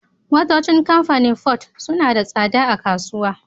Motocin kamfanin ford sunada tsada a kasuwa